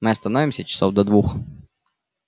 мы останемся часов до двух